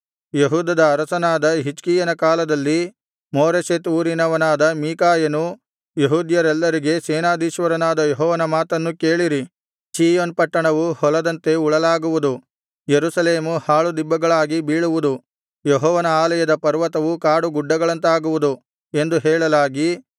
ಯೆಹೂದದ ಅರಸನಾದ ಹಿಜ್ಕೀಯನ ಕಾಲದಲ್ಲಿ ಮೋರೆಷೆತ್ ಊರಿನವನಾದ ಮೀಕಾಯನು ಯೆಹೂದ್ಯರೆಲ್ಲರಿಗೆ ಸೇನಾಧೀಶ್ವರನಾದ ಯೆಹೋವನ ಮಾತನ್ನು ಕೇಳಿರಿ ಚೀಯೋನ್ ಪಟ್ಟಣವು ಹೊಲದಂತೆ ಉಳಲಾಗುವುದು ಯೆರೂಸಲೇಮು ಹಾಳುದಿಬ್ಬಗಳಾಗಿ ಬೀಳುವುದು ಯೆಹೋವನ ಆಲಯದ ಪರ್ವತವು ಕಾಡು ಗುಡ್ಡಗಳಂತಾಗುವುದು ಎಂದು ಹೇಳಲಾಗಿ